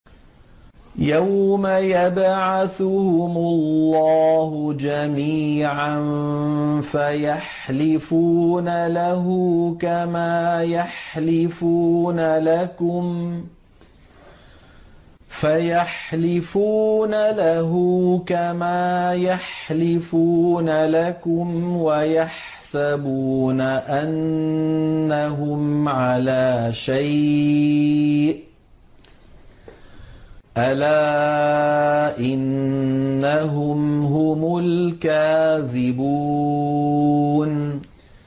يَوْمَ يَبْعَثُهُمُ اللَّهُ جَمِيعًا فَيَحْلِفُونَ لَهُ كَمَا يَحْلِفُونَ لَكُمْ ۖ وَيَحْسَبُونَ أَنَّهُمْ عَلَىٰ شَيْءٍ ۚ أَلَا إِنَّهُمْ هُمُ الْكَاذِبُونَ